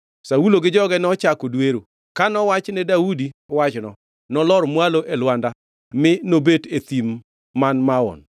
Saulo gi joge nochako dwero, ka nowach ne Daudi wachno, nolor mwalo e lwanda mi nobet e Thim man Maon. Kane Saulo owinjo ma, nodhi e Thim man Maon kolawo Daudi.